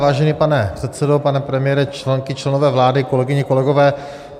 Vážený pane předsedo, pane premiére, členky, členové vlády, kolegyně, kolegové.